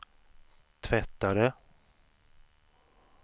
tvättare